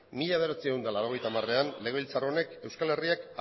mila bederatziehun eta laurogeita hamarean legebiltzar honek euskal herriak